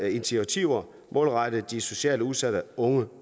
initiativer målrettet de socialt udsatte unge